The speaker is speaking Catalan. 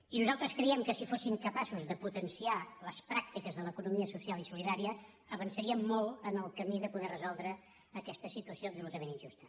i nosaltres creiem que si fóssim capaços de potenciar les pràctiques de l’economia social i solidària avançaríem molt en el camí de poder resoldre aquesta situació absolutament injusta